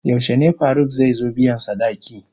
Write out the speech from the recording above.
Yaushe ne Faruk zai zo biyan sadaki?